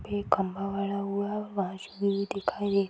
एक खम्बा गड़ा हुआ है से भी दिखाई --